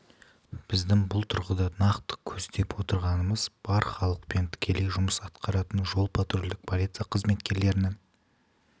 дейміз біздің бұл тұрғыда нақты көздеп отырғанымыз бар халықпен тікелей жұмыс атқаратын жол-патрульдік полиция қызметкерлерінің